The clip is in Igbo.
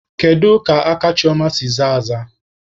Kedu ka aka Chioma si zaa aza?